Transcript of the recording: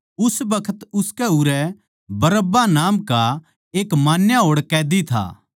उस बखत उनकै उरै बरअब्बा नाम का एक मान्या होड़ कैदी था